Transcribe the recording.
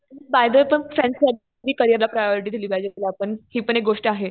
Bye the way पण friends नी करियरला प्रायोरिटी आपण दिली पाहिजे. हि पण एक गोष्ट आहे.